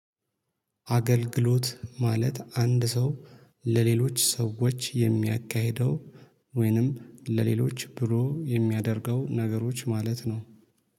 አገልግሎት ማለት አንድ ሰው ለሌሎች ሰዎች የሚያካሂደው ወይንም ለሌሎች ብሎ የሚያደርገው ነገሮች ማለት ነው